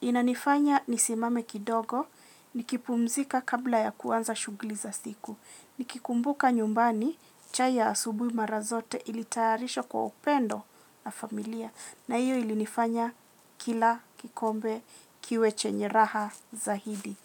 Inanifanya nisimame kidogo, nikipumzika kabla ya kuanza shughuli za siku. Nikikumbuka nyumbani, chai ya asubuhi mara zote ilitarishwa kwa upendo na familia. Na hiyo ilinifanya kila, kikombe, kiwe chenye raha zaidi.